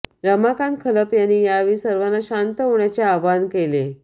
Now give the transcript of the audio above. रमाकांत खलप यांनी यावेळी सर्वांना शांत होण्याचे आवाहन केले